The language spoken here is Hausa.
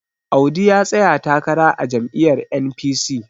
Audu ya tsaya takara a jami'yar N.P..c